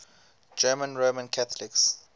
german roman catholics